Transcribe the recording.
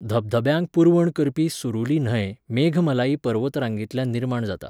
धबधब्यांक पुरवण करपी सुरुली न्हंय मेघमलाई पर्वतरांगेंतल्यान निर्माण जाता.